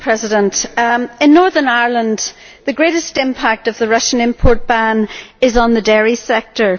Madam President, in Northern Ireland the greatest impact of the Russian import ban is on the dairy sector.